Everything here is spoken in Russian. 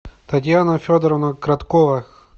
татьяна федоровна кроткова